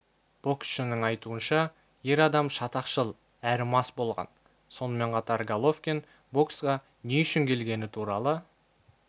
боксшының айтуынша ер адам шатақшыл әрі мас болған сонымен қатар головкин боксқа не үшін келегені туралы